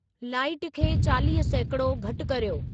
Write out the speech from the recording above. light खे चालीह सैकड़ो घटि कर्यो